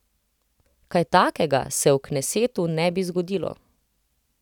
Kaj takega se v knesetu ne bi zgodilo.